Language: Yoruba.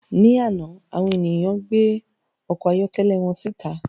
Ní àná, àwọn ènìyàn gbé ọkọ̀ ayọ́kẹ́lẹ́ wọn síta